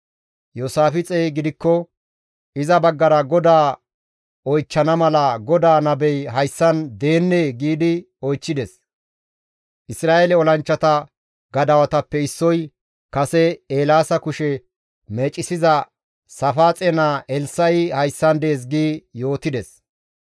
Iyoosaafixey gidikko, «Iza baggara GODAA oychchana mala GODAA nabey hayssan deennee?» giidi oychchides. Isra7eele olanchchata gadawatappe issoy, «Kase Eelaasa kushe meecisiza Saafaaxe naa Elssa7i hayssan dees» gi yootides.